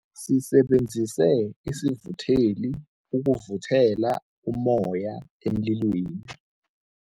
Sisebenzise isivutheli ukuvuthela ummoya emlilweni.